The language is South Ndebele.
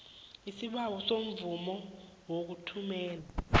isibawo semvumo yokuthumela